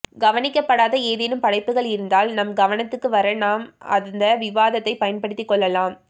கவனிக்கப்படாத ஏதேனும் படைப்புகள் இருந்தால் நம் கவனத்துக்கு வர நாம் அந்த விவாதத்தைப் பயன்படுத்திக்கொள்ளலாம்